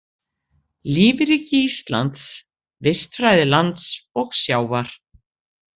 Lífríki Íslands, vistfræði lands og sjávar.